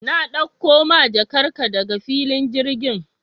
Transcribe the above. Na ɗakko ma jakar ka daga filin girgin